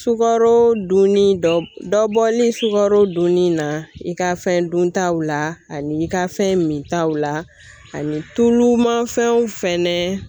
Sugaro dunni dɔ dɔ bɔli sugaro dunni na i ka fɛn dun taw la ani i ka fɛn min taw la ani tulu manfɛnw fɛnɛ